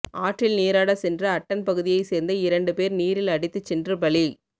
ஆற்றில் நீராடசென்ற அட்டன் பகுதியை சேர்ந்த இரண்டு பேர் நீரில் அடித்துச் சென்று பலி